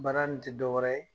Baara nin ti dɔ wɛrɛ ye